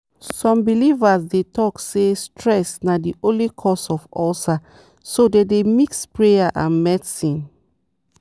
some believers dey talk say stress na the only cause of ulcer so dem dey mix prayer with medicine.